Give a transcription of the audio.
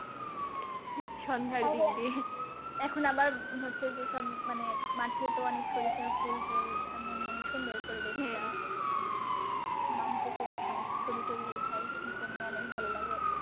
সন্ধ্যার দিক দিয়ে এখন আমার হচ্ছে যে সব মানে মাঠে তো অনেক সরিষার ফুল টুল এখন মানে সুন্দর পরিবেষ টা মানে অনেকেই যেয়ে ছবি টবি ওঠায় এইজন্যে ই মানে অনেক ভালো লাগে।